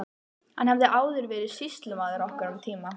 Hann hafði áður verið sýslumaður okkar um tíma.